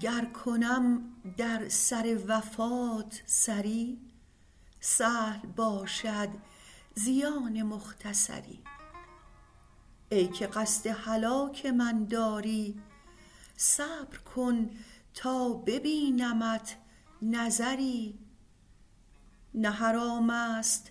گر کنم در سر وفات سری سهل باشد زیان مختصری ای که قصد هلاک من داری صبر کن تا ببینمت نظری نه حرام است